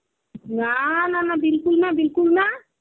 না না না Hindi না Hindi না.